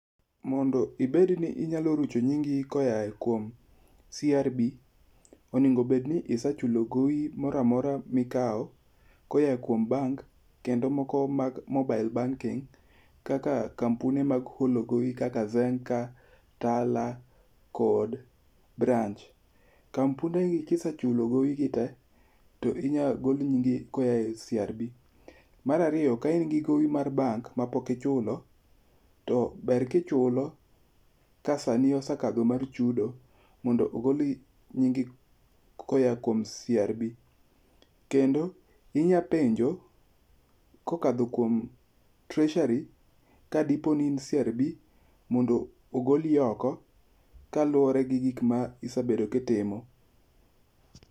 Mondo ibedni inyalo rucho nyingi koa kuom CRB, onego bedi ni isechulo gowi moro amora mikao koya kuom bank, kendo moko mag mobile banking kaka kampuni mag holo gowi kaka Tala, Zenka kod Branch. Kampundegi kise chulo gowigi tee to inyalo gol nyingi koa e CRB. Mar ariyo ka in gi gowi mar bank to pok ichulo, ber kichulo ka sani osekadho mar chudo mondo ogol nyingi koa kuom CRB. Kendo inyalo penjo kokadho kuom treasury kadipo ni in CRB mondo ogoli oko kaluwore gi gik ma isebedo ka itimo.